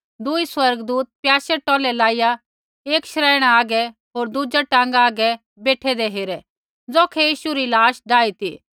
दुई स्वर्गदूत प्याशै टौलै लाईया एक शरैइणा हागै होर दुज़ा टाँगा हागै बेठैंदै हेरै ज़ौखै यीशु री लाश डाई ती